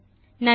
நன்றி